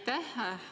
Aitäh!